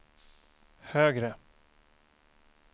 högre